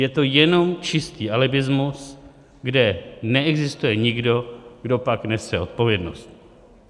Je to jenom čistý alibismus, kde neexistuje nikdo, kdo pak nese odpovědnost.